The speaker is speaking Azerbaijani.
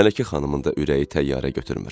Mələkə xanımın da ürəyi təyyarə götürmür.